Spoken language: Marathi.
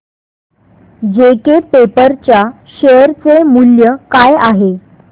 जेके पेपर च्या शेअर चे मूल्य काय आहे